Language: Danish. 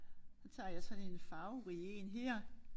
Så tager jeg sådan en farverig en her